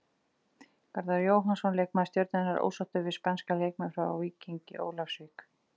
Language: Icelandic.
Garðar Jóhannsson, leikmaður Stjörnunnar, ósáttur við spænska leikmenn hjá Víkingi Ólafsvík.